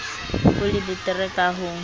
ho le betere ka ho